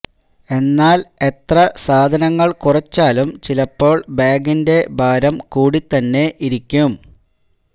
എന്നാല് എത്ര സാധനങ്ങള് കുറച്ചാലും ചിലപ്പോള് ബാഗിന്റെ ഭാരം കൂടിതന്നെ ഇരിക്കും